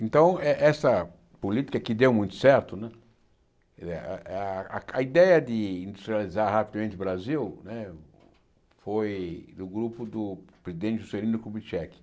Então, eh essa política que deu muito certo né, a a a ideia de industrializar rapidamente o Brasil né foi do grupo do presidente Juscelino Kubitschek.